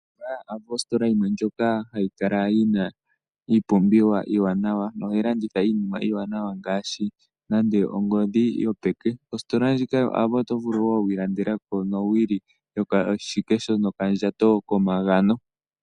Ositola yoAvo ositola yimwe ndjoka ha yi kala yi na iipumbiwa iiwanawa, noha yi landitha iinima iiwanawa ngaashi, nande ongodhi yopeke. Osiitola ndjika yoAvo oto vulu wo okwiilandela po owili yokoshikesho nokandhato komagano .